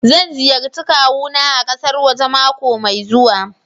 Zan ziyarci kawuna a kasar waje mako mai zuwa.